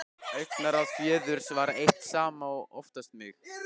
Augnaráð föður hans eitt saman var oftast nóg.